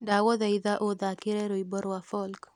ndagũthaitha ũthaakĩra rwimbo rwa folk